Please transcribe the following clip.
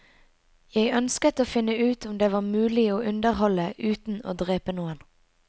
Jeg ønsket å finne ut om det var mulig å underholde uten å drepe noen.